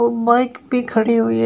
Bike भी खड़ी हुई है।